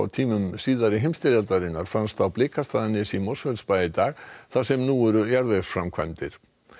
tímum seinni heimstyrjaldarinnar fannst á Blikastaðanesi í Mosfellsbæ í dag þar sem nú eru jarðvegsframkvæmdir